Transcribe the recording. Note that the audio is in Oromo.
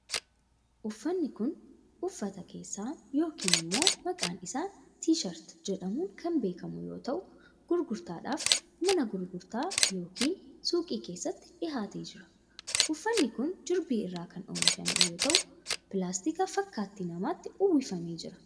Uffanni kun, uffata keessaa yokin immoo maqaan isaa T-shirt jedhamuun kan beekamu yoo ta'u, gurgurtaaf mana gurgurtaa yokin suuqii keessatti dhihaatee jira. Uffanni kun jirbii irraa kan oomishame yoo ta'u, pilaastika fakkaattii namaatti uwwifamee jira.